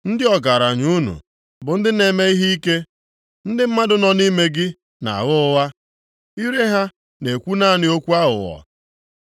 Ndị ọgaranya unu bụ ndị na-eme ihe ike, ndị mmadụ nọ nʼime gị na-agha ụgha, ire ha na-ekwu naanị okwu aghụghọ.